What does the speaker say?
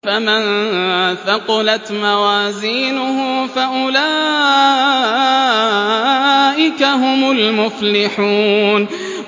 فَمَن ثَقُلَتْ مَوَازِينُهُ فَأُولَٰئِكَ هُمُ الْمُفْلِحُونَ